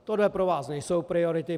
Tohle pro vás nejsou priority.